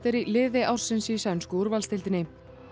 í liði ársins í sænsku úrvalsdeildinni